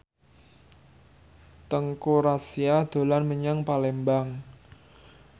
Teuku Rassya dolan menyang Palembang